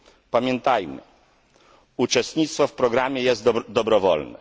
Pamiętajmy, że uczestnictwo w programie jest dobrowolne.